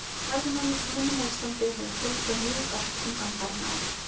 Ferðamönnum á Íslandi hefur fjölgað mjög ört undanfarin ár.